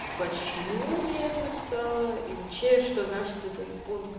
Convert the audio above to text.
почему я это написала и вообще что значит этот пункт